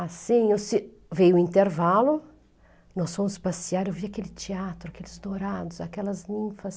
Assim, no ci, veio o intervalo, nós fomos passear, eu vi aquele teatro, aqueles dourados, aquelas ninfas.